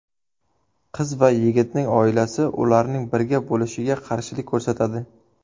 Qiz va yigitning oilasi ularning birga bo‘lishiga qarshilik ko‘rsatadi.